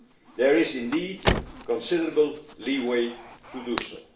There is indeed considerable leeway to